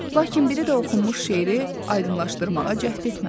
Lakin biri də oxunmuş şeiri aydınlaşdırmağa cəhd etmədi.